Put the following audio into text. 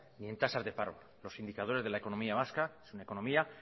ni en tasas de paro los indicadores de la economía vasca es una economía